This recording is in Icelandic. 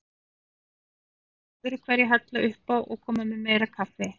Hún var alltaf öðruhverju að hella uppá og koma með meira kaffi.